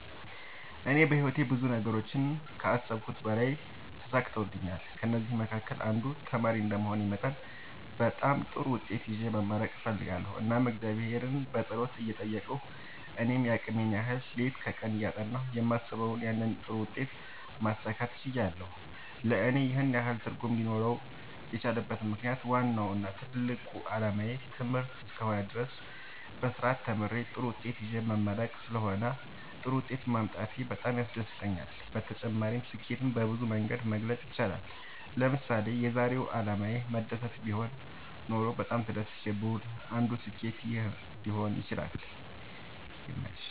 እኔ በህይወቴ ብዙ ነገሮችን ከአሰብሁት በላይ ተሳክተውልኛል ከእነዚህም መካከል አንዱ ተማሪ እንደመሆኔ መጠን በጣም ጥሩ ውጤት ይዤ መመረቅ እፈልጋለሁ እናም እግዚአብሔርን በጸሎት እየጠየቅሁ እኔም የአቅሜን ያህል ሌት ከቀን እያጠናሁ የማስበውን ያንን ጥሩ ውጤት ማሳካት ችያለሁ ለእኔ ይህን ያህል ትርጉም ሊኖረው የቻለበት ምክንያት ዋናው እና ትልቁ አላማዬ ትምህርት እስከ ሆነ ድረስ በስርአት ተምሬ ጥሩ ውጤት ይዤ መመረቅ ስለሆነ ጥሩ ውጤት ማምጣቴ በጣም ያስደስተኛል። በተጨማሪ ስኬትን በብዙ መንገድ መግለፅ ይቻላል ለምሳሌ የዛሬው አላማዬ መደሰት ቢሆን ኖሮ በጣም ተደስቼ ብውል አንዱ ስኬት ይህ ሊሆን ይችላል